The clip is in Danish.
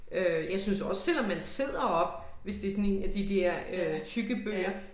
Øh jeg synes også selvom man sidder op hvis det sådan én af de der øh tykke bøger